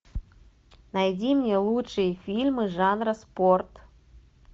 найди мне лучшие фильмы жанра спорт